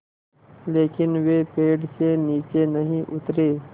लेकिन वे पेड़ से नीचे नहीं उतरे